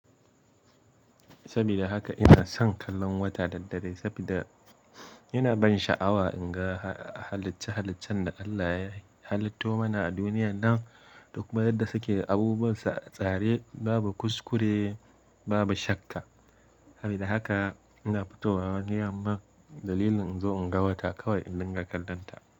Sabida haka ina son kallon wata da daddare sabida ina ban sha'awa in ga halicce-haliccen da Allah ya halitto mana a duniyan nan, duk ma yadda suke abubuwan tsare babu kuskure, babu shakka. Sabida haka ina fito wa wani yamma dalilin in zo in ga wata kawai indin ga kallon ta.